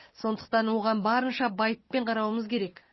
сондықтан оған барынша байыппен қарауымыз керек